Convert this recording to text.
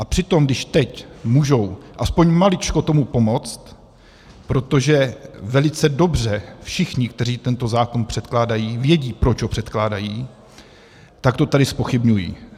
A přitom když teď můžou aspoň maličko tomu pomoct, protože velice dobře všichni, kteří tento zákon předkládají, vědí, proč ho předkládají, tak to tady zpochybňují.